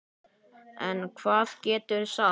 En hvað geturðu sagt?